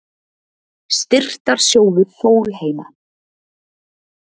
Styrktarsjóður Sólheima